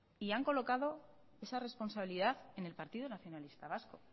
y han colocado esa responsabilidad en el partido nacionalista vasco